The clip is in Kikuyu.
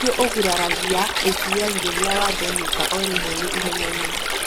Kaingĩ ũguraragia ACL rĩrĩa wa thenyũka o rĩmwe wĩ ihenyainĩ.